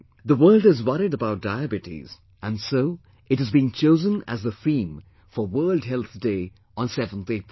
The world is worried about Diabetes and so it has been chosen as the theme for World Health Day on 7th April